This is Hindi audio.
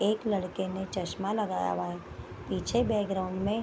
एक लड़के ने चश्मा लगाया हुआ है पीछे बैकग्राउंड में --